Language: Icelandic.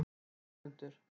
Ögmundur